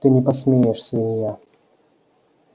ты не посмеешь свинья